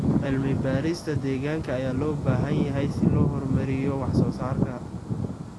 Cilmi-baarista deegaanka ayaa loo baahan yahay si loo horumariyo wax soo saarka.